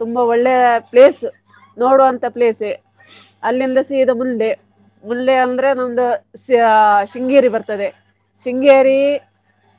ತುಂಬಾ ಒಳ್ಳೆ place ನೋಡುವಂತ place ಏ ಅಲ್ಲಿಂದ ಸೀದಾ ಮುಂದೆ ಮುಂದೆ ಅಂದ್ರೆ ಒಂದು shya~ Sringeri ಬರ್ತದೆ. Sringeri